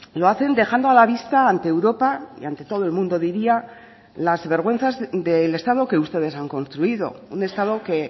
lo hacen dejando a la vista ante europa y ante todo el mundo diría las vergüenzas del estado que ustedes han construido un estado que